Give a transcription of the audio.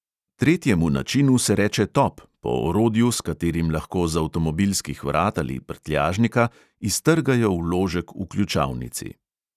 Tretjemu načinu se reče top, po orodju, s katerim lahko z avtomobilskih vrat ali prtljažnika iztrgajo vložek v ključavnici.